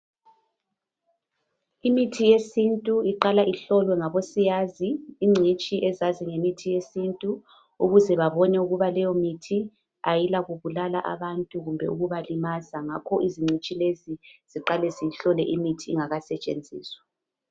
Imithi yesintu iqala ihlolwe ngabosiyazi ingcitshi ezazi ngemithi yesintu ukuze babone ukuba leyomithi ayilakubulala abantu kumbe ukubalimaza. Ngakho izingcitshi. lezi ziqala ziyihlole imithi ingakasetshenziswa